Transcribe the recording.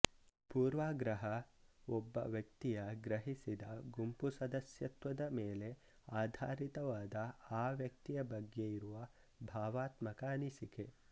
ಪೂರ್ವಗ್ರಹ ಒಬ್ಬ ವ್ಯಕ್ತಿಯ ಗ್ರಹಿಸಿದ ಗುಂಪು ಸದಸ್ಯತ್ವದ ಮೇಲೆ ಆಧಾರಿತವಾದ ಆ ವ್ಯಕ್ತಿಯ ಬಗ್ಗೆ ಇರುವ ಭಾವಾತ್ಮಕ ಅನಿಸಿಕೆ